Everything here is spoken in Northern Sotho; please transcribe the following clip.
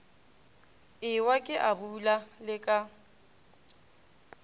ewa ke abula le ka